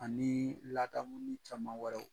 Ani ladamuni caman wɛrɛw.